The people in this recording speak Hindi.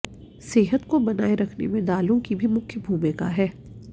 सेहत को बनाए रखने में दालों की भी मुख्य भूमिका है